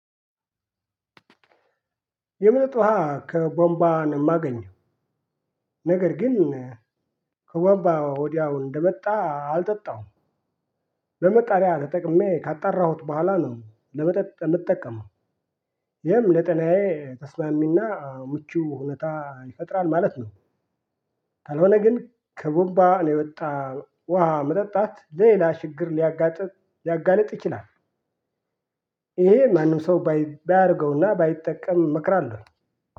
የመጠጥ ውሃ ከቧንቦ ነው ማገኘው ነገር ግን ከቧንባ ወዲያው እንደመጣ አልጠጣውም። በማጣሪያ ተጠቅሜ ካጣራሁት በኋላ ነው ለመጠጥ የምጠቀመው። ይሄም ለጤናዬ ተስማሚና ምቹ ሁኔታ ይፈጥራል ማለት ነው። ካልሆነ ግን ከቧንባ የወጣ ውሃ መጠጣት ሌላ ሽግር ሊያጋጥም ሊያጋልጥ ይችላል። ይሄ ማንም ሰው ባያደርገውና ባይጠቀም እመክራለሁ።